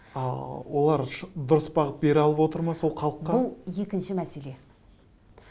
ааа олар дұрыс бағыт бере алып отыр ма сол халыққа бұл екінші мәселе